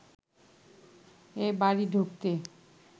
এ বাড়ি ঢুকতে